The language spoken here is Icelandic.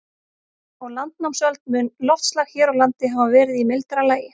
Á landnámsöld mun loftslag hér á landi hafa verið í mildara lagi.